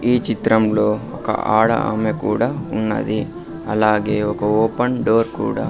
ఈ చిత్రంలో ఒక ఆడ ఆమె కూడా ఉన్నది అలాగే ఒక ఓపెన్ డోర్ కూడా.